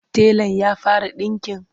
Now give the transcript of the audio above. telan ya fara ɗinƙin?